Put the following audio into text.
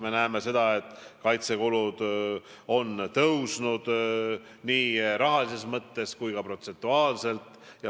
Me näeme seda, et kaitsekulud on tõusnud nii rahalises mõttes kui ka protsentuaalselt.